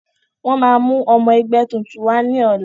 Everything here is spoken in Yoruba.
Wọn máa mú ọmọ ẹgbẹ́ tuntun wá ní ọ̀la.